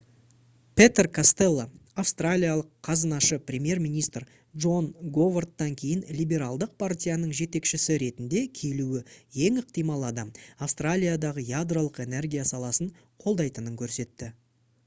петер костелло австралиялық қазынашы премьер-министр джон говардтан кейін либералдық партияның жетекшісі ретінде келуі ең ықтимал адам австралиядағы ядролық энергия саласын қолдайтынын көрсетті